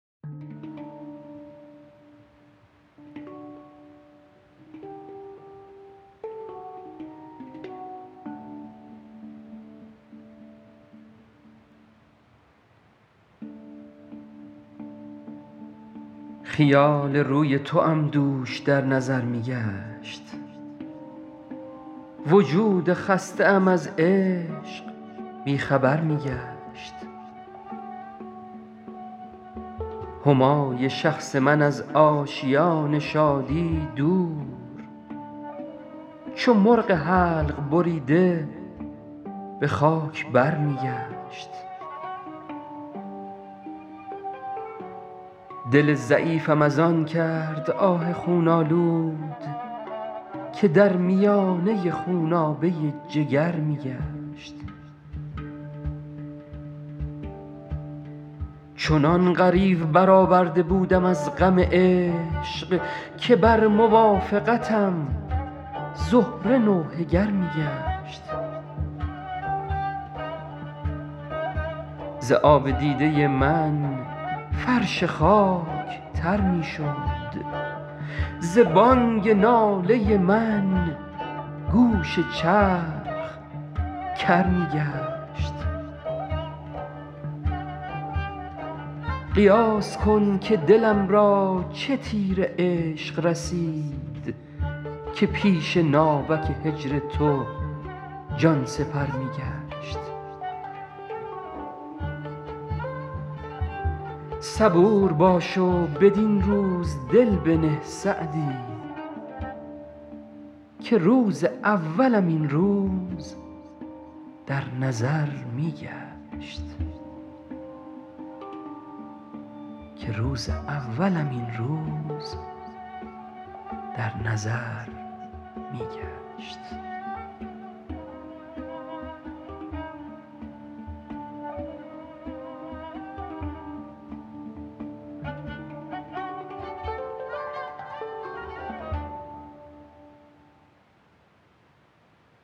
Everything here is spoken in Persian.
خیال روی توام دوش در نظر می گشت وجود خسته ام از عشق بی خبر می گشت همای شخص من از آشیان شادی دور چو مرغ حلق بریده به خاک بر می گشت دل ضعیفم از آن کرد آه خون آلود که در میانه خونابه جگر می گشت چنان غریو برآورده بودم از غم عشق که بر موافقتم زهره نوحه گر می گشت ز آب دیده من فرش خاک تر می شد ز بانگ ناله من گوش چرخ کر می گشت قیاس کن که دلم را چه تیر عشق رسید که پیش ناوک هجر تو جان سپر می گشت صبور باش و بدین روز دل بنه سعدی که روز اولم این روز در نظر می گشت